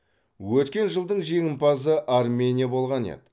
өткен жылдың жеңімпазы армения болған еді